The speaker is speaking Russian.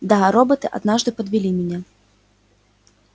да роботы однажды подвели меня